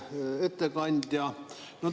Hea ettekandja!